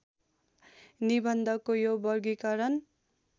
निबन्धको यो वर्गीकरण